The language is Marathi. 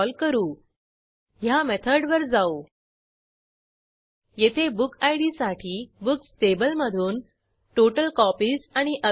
अधिक माहितीसाठी कृपया contact at spoken hyphen tutorial dot ORG वर लिहा स्पोकन ट्युटोरियल प्रॉजेक्ट हे टॉक टू टीचर या प्रॉजेक्टचा भाग आहे